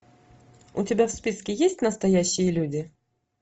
у тебя в списке есть настоящие люди